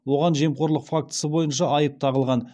оған жемқорлық фактісі бойынша айып тағылған